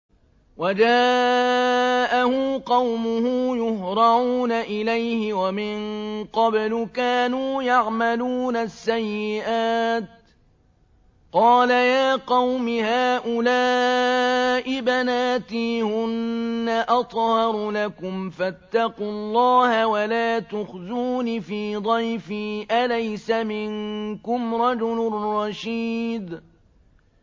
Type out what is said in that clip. وَجَاءَهُ قَوْمُهُ يُهْرَعُونَ إِلَيْهِ وَمِن قَبْلُ كَانُوا يَعْمَلُونَ السَّيِّئَاتِ ۚ قَالَ يَا قَوْمِ هَٰؤُلَاءِ بَنَاتِي هُنَّ أَطْهَرُ لَكُمْ ۖ فَاتَّقُوا اللَّهَ وَلَا تُخْزُونِ فِي ضَيْفِي ۖ أَلَيْسَ مِنكُمْ رَجُلٌ رَّشِيدٌ